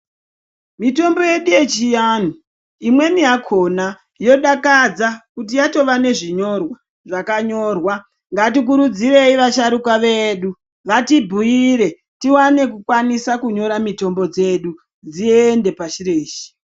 Mitombo yedu yechiantu imweni yakona yodakadza kuti yatova nezvinyorwa zvakanyorwa ngatikurudzirei vasharukwa vedu vatibhuire tiwane kukwanisa kunyora mitombo dzedu dziende pashi reshe.